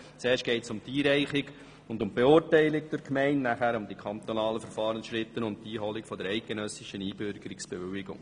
Zuerst geht es um die Einreichung und die Beurteilung durch die Gemeinde, danach um die kantonalen Verfahrensschritte sowie um die Einholung der eidgenössischen Einbürgerungsbewilligung.